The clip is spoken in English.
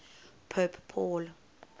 pope paul